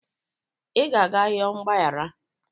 ị ga-aga yọọ mgbaghara